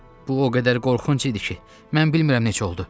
Bu o qədər qorxunc idi ki, mən bilmirəm necə oldu.